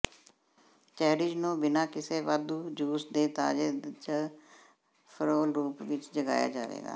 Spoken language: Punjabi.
ਚੈਰੀਜ਼ ਨੂੰ ਬਿਨਾਂ ਕਿਸੇ ਵਾਧੂ ਜੂਸ ਦੇ ਤਾਜ਼ੇ ਜ ਫਰੋਲ ਰੂਪ ਵਿੱਚ ਜਗਾਇਆ ਜਾਵੇਗਾ